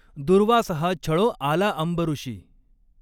दुर्वास हा छळों आला आंबॠषी।